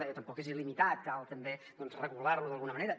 deia tampoc és il·limitat cal tam·bé regular·lo d’alguna manera